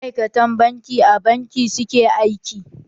Maaikatan banki a banki suke aiki